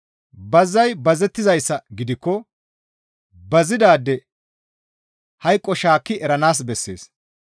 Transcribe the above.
Bazay bazettizayssa gidikko bazidaade hayqo shaakki eranaas bessees.